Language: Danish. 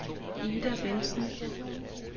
Ida Bendtsen